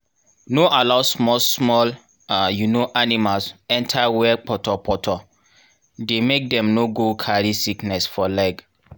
no allow small small um animals enter where poto poto dey make dem no go carry sickness for leg